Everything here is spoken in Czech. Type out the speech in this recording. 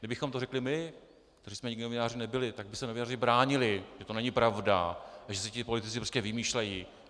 Kdybychom to řekli my, kteří jsme nikdy novináři nebyli, tak by se novináři bránili, že to není pravda a že si politici prostě vymýšlejí.